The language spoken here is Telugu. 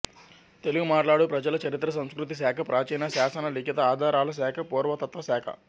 తెలుగు మాట్లాడు ప్రజల చరిత్ర సంస్కృతి శాఖ ప్రాచీన శాసన లిఖిత ఆధారాల శాఖ పురాతత్వ శాఖ